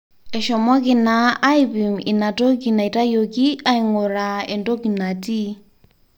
eshomoki naa aipim ina toki naitayioki aing'uraa entoki natii